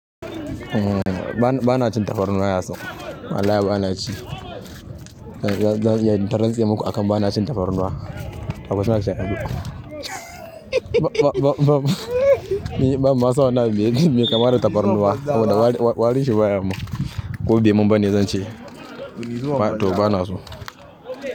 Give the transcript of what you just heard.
Umm, bana cin tafarnuwa yasin. Wallahi bana ci. Zan iya in ta rantse maku akan bana cin tafarnuwa. Akwai shawara ce? Ba, ba, ba, ba, banma san wanna abun mai kamada tafarnuwa saboda wari, warinshi baya mun. Ko be mun bane zan ci. To bana so.